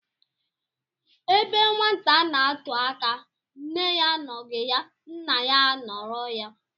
Ebe nwata n'atụ aka, nne ya anọghị ya, nna ya anoro ya.